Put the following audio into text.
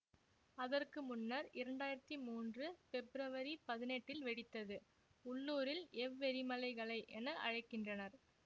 அதற்கு முன்னர் இரண்டு ஆயிரத்தி மூன்று பெப்ரவரி பதினெட்டில் வெடித்தது உள்ளூரில் எவ்வெரிமலைகளை என அழைக்கின்றனர்